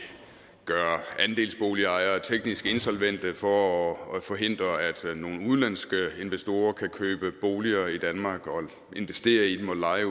gøre andelsboligejere teknisk insolvente for at forhindre at nogle udenlandske investorer kan købe boliger i danmark og investere i dem og leje